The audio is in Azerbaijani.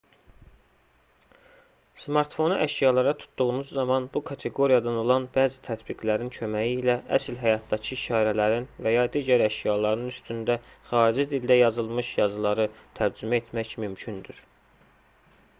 smartfonu əşyalara tutduğunuz zaman bu kateqoriyadan olan bəzi tətbiqlərin köməyi ilə əsl həyatdakı işarələrin və ya digər əşyaların üstündə xarici dildə yazılmış yazıları tərcümə etmək mümkündür